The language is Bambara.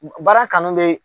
Baara kanu bɛ